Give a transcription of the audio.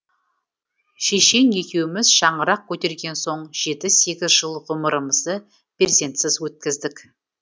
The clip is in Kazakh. шешең екеуіміз шаңырақ көтерген соң жеті сегіз жыл ғұмырымызды перзентсіз өткіздік